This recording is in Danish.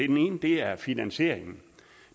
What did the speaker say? den ene er finansieringen